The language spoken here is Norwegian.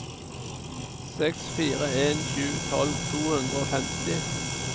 seks fire en sju tolv to hundre og femti